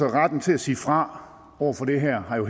retten til at sige fra over for det her har jo